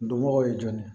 Dɔnbagaw ye jɔn ye